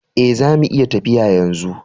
Eh, zamu iya tafiya yanzu.